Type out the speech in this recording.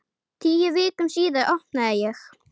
Tíu vikum síðar opnaði ég.